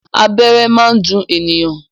Abẹ́rẹ́ máa ń dùn ènìyàn.